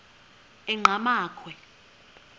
enqgamakhwe